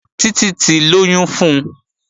Títí ti lóyún fun